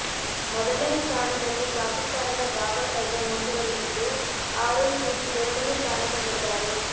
ಮೊದಲನೇ ಸ್ಥಾನದಲ್ಲಿ ಪಾಕಿಸ್ತಾನದ ಬಾಬರ್ ಅಜಮ್ ಮುಂದುವರಿದಿದ್ದು ಆರೋನ್ ಫಿಂಚ್ ಎರಡನೇ ಸ್ಥಾನದಲ್ಲಿದ್ದಾರೆ